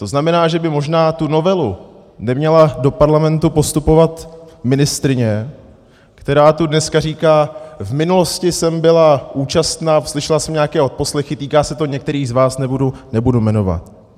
To znamená, že by možná tu novelu neměla do Parlamentu postupovat ministryně, která tu dneska říká: V minulosti jsem byla účastna, slyšela jsem nějaké odposlechy, týká se to některých z vás, nebudu jmenovat.